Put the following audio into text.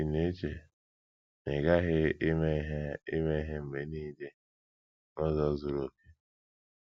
Ị̀ NA - ECHE na ị ghaghị ime ihe ime ihe mgbe nile n’ụzọ zuru okè?